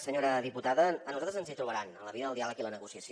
senyora diputada a nosaltres ens hi trobaran en la via del diàleg i la negociació